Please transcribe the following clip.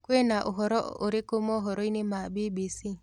Kwĩna ũhoro ũrikũ mohoro-ĩnĩ ma B.B.C